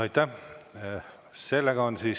Aitäh!